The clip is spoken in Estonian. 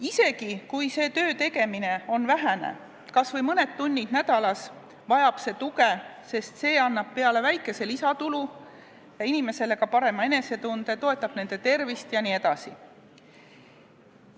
Isegi kui see töö tegemine on vähene, kas või mõned tunnid nädalas, vajab see tuge, sest see annab peale väikese lisatulu inimesele ka parema enesetunde, toetab tervist jne.